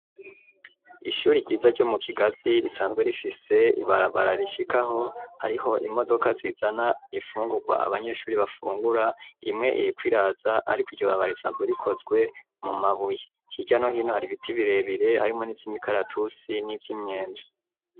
Ishuri ryiza ryo mu kigazi risanzwe rifise ibarabara rishikaho ariho imodoka zizana ifungurwa abanyeshuri bafungura imwe iriko iraza ariko iryobabara risanzwe rikozwe mu mabuye hirya no hino hari ibiti birebire harimwo nivyi mikaratusi nivyi myembe.